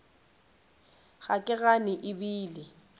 ga ke gane e bile